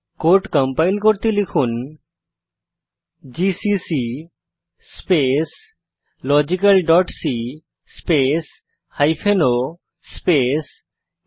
code compile করতে লিখুন GCC space logical dot c space o space log